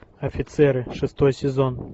офицеры шестой сезон